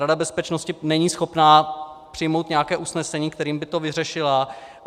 Rada bezpečnosti není schopná přijmout nějaké usnesení, kterým by to vyřešila.